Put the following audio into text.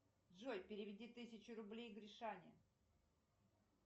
джой переведи тысячу рублей гришане